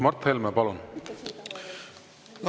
Mart Helme, palun!